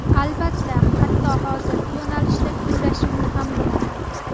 Albatta, hatto hozirgi yo‘nalishda kuylashimni ham bilaman.